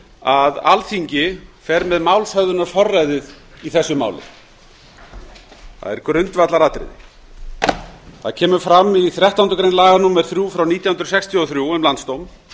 að alþingi fer með málshöfðunarforræðið í þessu máli það er grundvallaratriði það kemur fram í þrettándu grein laga númer þrjú nítján hundruð sextíu og þrjú um landsdóm